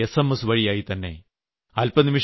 അതും എസ്എംഎസ് വഴിയായി തന്നെ